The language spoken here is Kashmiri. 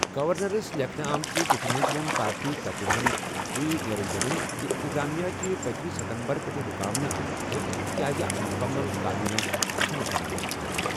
گورنرَس لیکھنہٕ آمٕژ چِٹھہِ منٛز ووٚن پارٹی ترجمان جی نِرنجن زِ انتظامیہ چھِ پٔتمہِ ستمبر پٮ۪ٹھٕ رُکاونہٕ آمٕژ تِکیٛازِ اکھ مُکمل کابینہ چھَنہٕ بناونہٕ آمٕژ۔